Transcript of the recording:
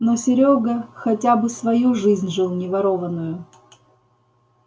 но серёга хотя бы свою жизнь жил не ворованную